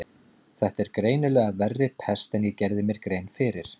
Þetta er greinilega verri pest en ég gerði mér grein fyrir.